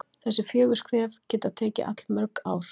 þessi fjögur skref geta tekið allmörg ár